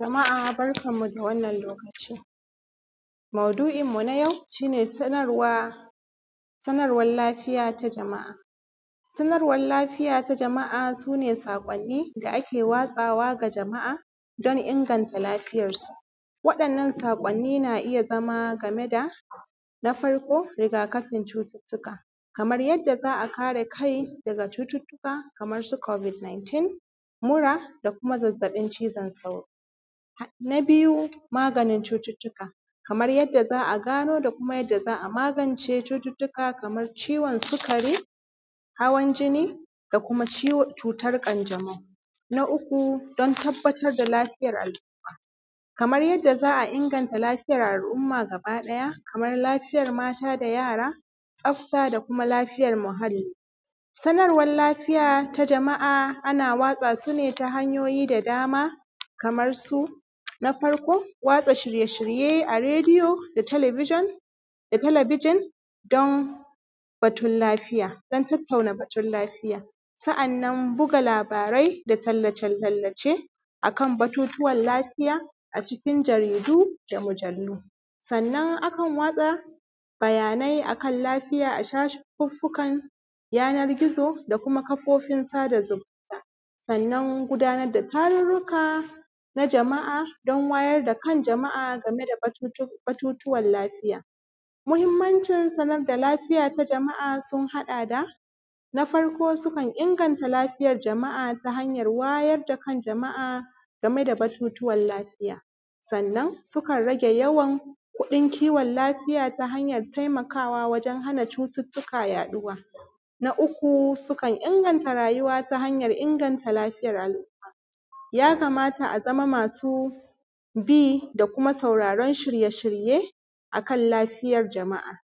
Jama’a barkanmu da wannan lokaci. Maudu’inmu na yau, shi ne sanarwa, sanarwar lafiya ta jama’a. Sanarwar lafiya ta jama’a, su ne saƙwanni da ake watsawa ga jama’a don inganta lafiyarsu. Waɗannan saƙwanni na iya zama game da, na farko, rigakafin cututtuka. Kamar yadda za a kare kai daga cututtuka kamar su Covid 19, mura, da kuma zazzaɓin cizon sauro. Na biyu, maganin cututtuka, kamar yadda za a gano da kuma yadda za a magance cututtuka kamar ciwo sikari, hawan jinni, da kuma cutar ƙanjamau. Na uku, don tabbatar da lafiyar al’umma. Kamar yadda za a inganta lafiyar al’umma gabaɗaya, kamar lafiyar mata da yara, tsafta da kuma lafiyar muhalli. Sanarwar lafiya ta jama’a ana watsa su ne ta hanyoyi da dama, kamar su, na farko, watsa shirye-shirye a rediyo da talabijin, da talabijin, don batun lafiya, don tattauna batun lafiya. Sa’annan buga labarai da tallace-tallace a kan batutuwan lafiya a cikin jaridu da mujallu. Sannan akan watsa bayanai a kan lafiya a shafuffukan yanar gizo da kuma kafofin sada zumunta. Sannan gudanar da tarurruka na jama’a, don wayar da kan jama’a game da batutuwan lafiya. Muhimmancin sanar da lafiya ta jama’a sun haɗa da, na farko sukan inganta lafiyar jama’a ta hanyar wayar da kan jama’a game da batutuwan lafiya. Sannan, sukan rage yawan kuɗin kiwon lafiya ta hanyar taimakawa wajen hana cututtuka yaɗuwa. Na uku sukan inganta rayuwa ta hanyar inganta lafiyar al’umma. Ya kamata a zama masu bi da kuma sauraron shirye-shirye, a kan lafiyar jama’a,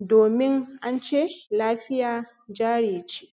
domin an ce, ‘lafiya jari ce’.